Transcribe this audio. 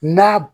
N'a